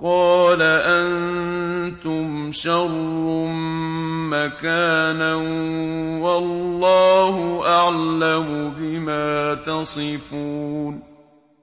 قَالَ أَنتُمْ شَرٌّ مَّكَانًا ۖ وَاللَّهُ أَعْلَمُ بِمَا تَصِفُونَ